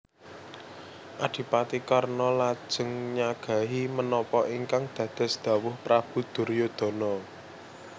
Adipati Karna lajeng nyagahi menapa ingkang dados dhawuh Prabu Duryudana